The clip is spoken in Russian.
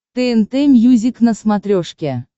тнт мьюзик на смотрешке